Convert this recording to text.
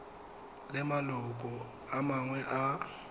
le maloko a mangwe a